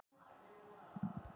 Hvað meinarðu með því?